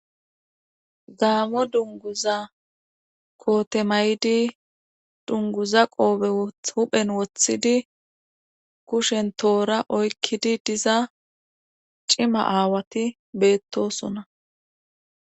gaamo dunguza kootemaydi dunguza qoobe huphen woththidi kushen toora oykkidi diza cima aawati beettosona